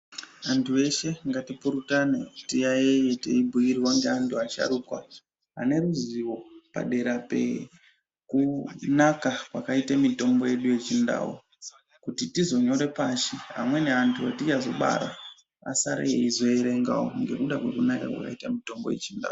Antu eshe ngatipurutane tiyaiye teibhirwa ngaantu asharuka padera pekunaka kwakite mitombo yedu yechindau kuti tizonyore pashi amweni antu etichazobara asare echierengawo ngekuda kwekunaka kwakita mutombo yechindau.